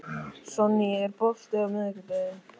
Sonný, er bolti á miðvikudaginn?